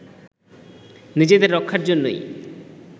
নিজেদের রক্ষার জন্যই